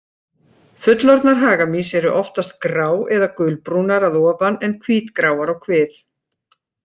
Fullorðnar hagamýs eru oftast grá- eða gulbrúnar að ofan en hvítgráar á kvið.